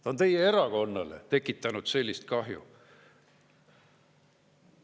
Ta on teie erakonnale tekitanud sellist kahju.